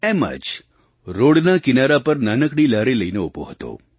એમ જ રૉડના કિનારા પર નાનકડી લારી લઈને ઊભો હતો